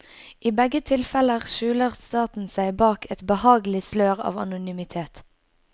Og i begge tilfeller skjuler staten seg bak et behagelig slør av anonymitet.